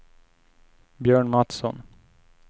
Björn Mattsson